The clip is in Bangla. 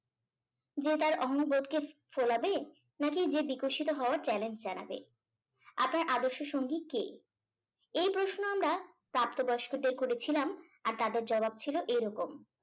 যে তার অহম বোধকে ফোলাবে নাকি যে বিকশিত হওয়ার challenge জানাবে আপনার আদর্শ সঙ্গী কে এই প্রশ্ন আমরা প্রাপ্ত বয়স্কদের করেছিলাম আর তাদের জবাব ছিল এরকম